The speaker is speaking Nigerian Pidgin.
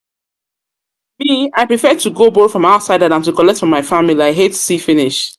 I prefer to go borrow from outsider dan to collect from my family, I hate see finish